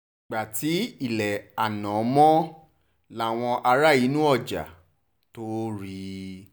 ìgbà tí ilé àná mọ́ làwọn ará inú ọjà tóo rí i